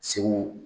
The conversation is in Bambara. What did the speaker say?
Segu